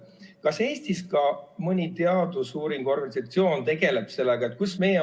Kas Eestis ka mõni teadusuuringute organisatsioon tegeleb sellega?